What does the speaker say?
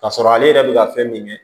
Ka sɔrɔ ale yɛrɛ bɛ ka fɛn min kɛ